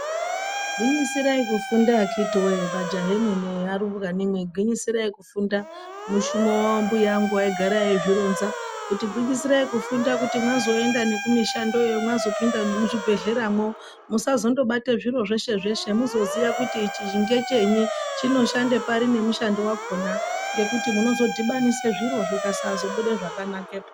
'Gwinyisirai kufunda vakiti wee magayaa nemenee nearubwani, gwinyisirainkufundaa.' Mushumo wambuyaa angu aigara eizvironga kuti gwinyisirai kufunda kuti mazoendaa nekumishandoyo mazopinda nemuzvibhedhleramoo , musazondobate zviro zveshe zveshe muzoziya kuti ichi ndechenyi, chinoshande pari nemushando wakona ngekuti munozodhibanisa zviro zvakasazobuda zvakanakepo.